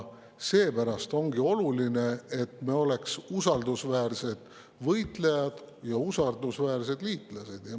Seepärast ongi oluline, et me oleksime usaldusväärsed võitlejad ja usaldusväärsed liitlased.